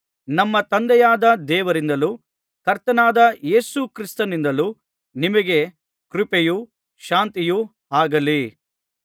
ನಮ್ಮ ತಂದೆಯಾದ ದೇವರಿಂದಲೂ ಕರ್ತನಾದ ಯೇಸು ಕ್ರಿಸ್ತನಿಂದಲೂ ನಿಮಗೆ ಕೃಪೆಯೂ ಶಾಂತಿಯೂ ಆಗಲಿ